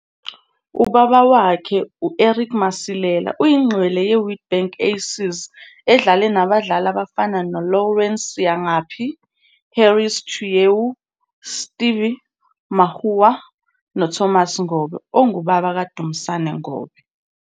Ubaba wakhe, u-Eric Masilela uyingqwele yeWitbank Aces edlale nabadlali abafana noLawrence Siyangaphi, Harris Chueu, Steve Makua noThomas Ngobe, ongubaba kaDumisa Ngobe.